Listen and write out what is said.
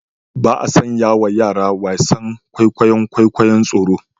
Ba a sanyawa yara wasan kwaikwayon kwikwayon tsoro